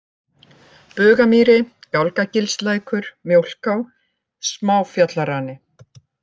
Bugamýri, Gálgagilslækur, Mjólká, Smáfjallarani